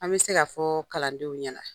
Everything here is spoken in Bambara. An be se ka fɔɔ kalandenw ɲɛna.